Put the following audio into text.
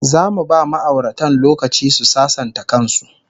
Zamu ba ma'auratan lokaci su sasanta kan su